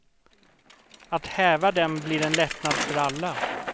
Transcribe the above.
Att häva dem blir en lättnad för alla.